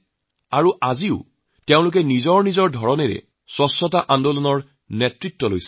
এই পৰ্যন্ত তেওঁলোকে নিজাকৈ স্বচ্ছতা আন্দোলনৰ নেতৃত্ব দিছে